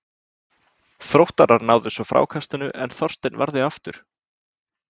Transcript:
Þróttarar náðu svo frákastinu en Þorsteinn varði aftur.